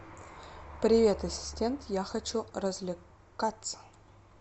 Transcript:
привет ассистент я хочу развлекаться